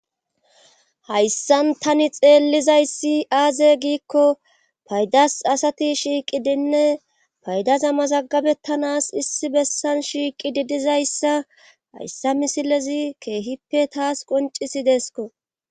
Hayssan tani xeellizayssi aaze giikko paydas asati shiiqi diinne paydaza mazaggabettanas issi bessan shiiqi di dizayssa hayssa misilezi keehippe taas qoncisi deesko.